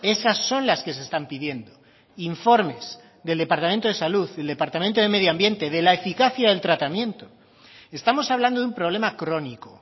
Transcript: esas son las que se están pidiendo informes del departamento de salud del departamento de medio ambiente de la eficacia del tratamiento estamos hablando de un problema crónico